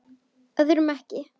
Öðrum ekki.